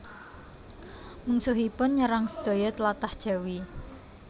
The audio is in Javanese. Mungsuhipun nyerang sedaya tlatah Jawi